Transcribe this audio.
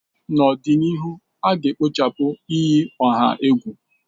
N'ọdịnihu, a ga-ekpochapụ iyi ọha egwu.